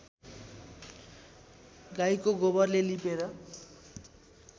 गाईको गोबरले लिपेर